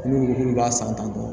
N'u b'a san tan tɔ